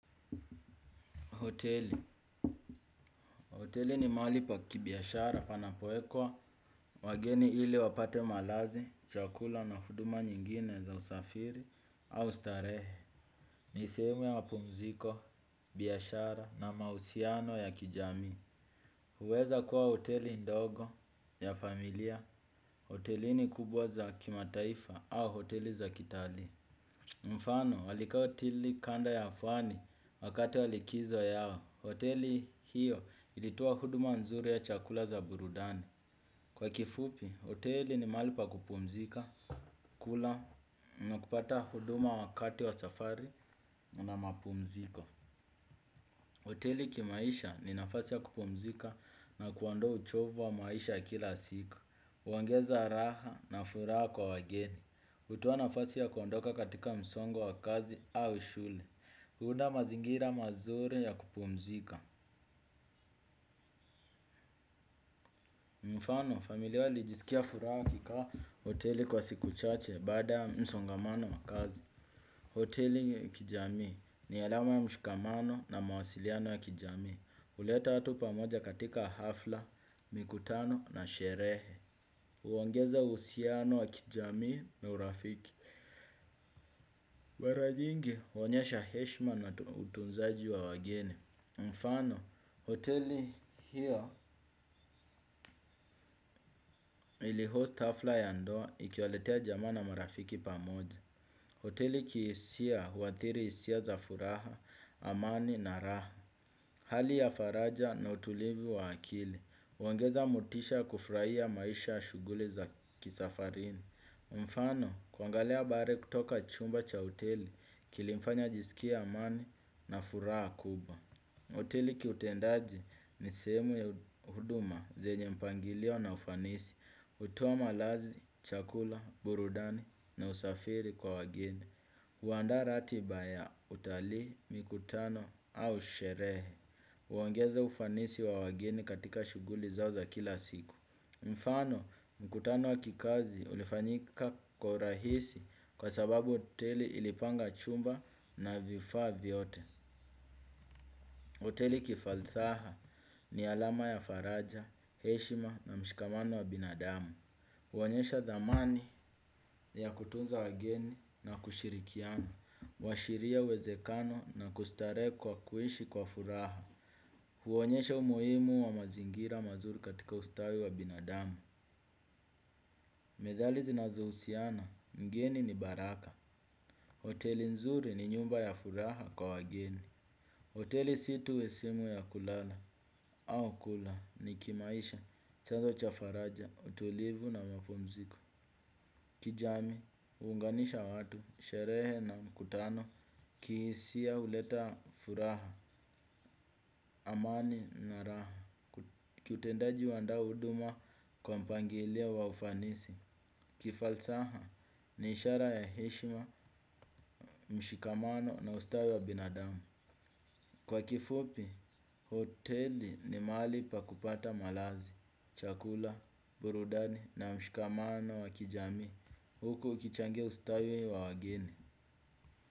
Hoteli ni mahali pa kibiashara panapopokea wageni ili wapate malazi, chakula na huduma nyingine za usafiri au starehe. Ni sehemu ya mapumziko, biashara na mahusiano ya kijamii. Huweza kuwa hoteli ndogo ya familia. Hoteli ni kubwa za kimataifa au hoteli za kitalii. Mfano, walikaa hoteli kando ya ufuo wakati wa likizo yao. Hoteli hiyo ilitoa huduma nzuri ya chakula na burudani. Kwa kifupi, hoteli ni mahali pa kupumzika, kula na kupata huduma wakati wa safari na mapumziko. Hoteli kimaisha ni nafasi ya kupumzika na kuondoa uchovu wa maisha ya kila siku. Huongeza raha na furaha kwa wageni. Hutoa nafasi ya kuondoka katika msongo wa kazi au shule. Huunda mazingira mazuri ya kupumzika. Mfano, familia ilijisikia furaha kukaa hotelini kwa siku chache baada ya msongamano wa kazi. Hoteli ni ya kijamii ni alama ya mshikamano na mawasiliano ya kijamii. Huleta watu pamoja katika hafla, mikutano na sherehe. Huongeza uhusiano wa kijamii na urafiki. Mara nyingi huonyesha heshima na utunzaji wa wageni. Mfano, hoteli hii ya iliandaa hafla ya ndoa iliyowaleta pamoja jamaa na marafiki. Hoteli kihisia, huathiri hisia za furaha, amani na raha. Hali ya faraja na utulivu wa akili huongeza motisha kufurahia maisha na shughuli za kusafiri. Mfano, kuangalia bahari kutoka chumba cha hoteli kilimfanya ajisikie amani na furaha kubwa. Hoteli kiutendaji ni sehemu ya huduma zenye mpangilio na ufanisi. Hutoa malazi, chakula, burudani na usafiri kwa wageni. Huandaa ratiba ya utalii, mikutano au sherehe. Huongeza ufanisi wa wageni katika shughuli zao za kila siku. Mfano, mkutano wa kikazi ulifanyika kwa urahisi kwa sababu hoteli ilipanga chumba na vifaa vyote. Hoteli kifalsafa ni alama ya faraja, heshima na mshikamano wa binadamu. Huonyesha dhamani ya kutunza wageni na kushirikiana. Huashiria uwezekano na kustarehe kwa kuishi kwa furaha. Huonyesha umuhimu wa mazingira mazuri katika ustawi wa binadamu. Methali zinazohusiana, mgeni ni baraka. Oteli nzuri ni nyumba ya furaha kwa wageni. Hoteli si tu sehemu ya kulala au kula tu ni kimaisha, chanzo cha faraja, utulivu na mapumziko. Kijamii, huunganisha watu, sherehe na mikutano kihisia, huleta furaha. Amani na raha; kiutendaji huandaa huduma kwa mpangilio wa ufanisi; kifalsafa, ni ishara ya heshima, mshikamano na ustawi wa binadamu. Kwa kifupi, hoteli ni mahali pa kupata malazi, chakula, burudani na mshikamano wa kijamii. Huko ukichangia ustawi wa wageni.